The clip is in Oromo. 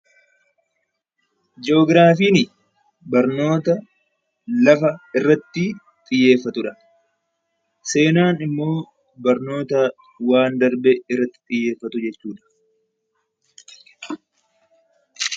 Ji'oogiraafiin barnoota lafa irratti xiyyeeffatudha. Seenaan immoo barnoota waan darbe irratti xiyyeeffatudha.